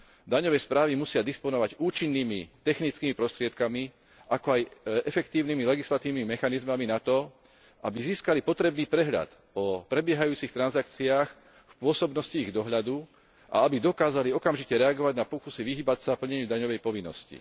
Daňové správy musia disponovať účinnými technickými prostriedkami, ako aj efektívnymi legislatívnymi mechanizmami na to, aby získali potrebný prehľad o prebiehajúcich transakciách v pôsobnosti ich dohľadu a aby dokázali okamžite reagovať na pokusy vyhýbať sa plneniu daňovej povinnosti.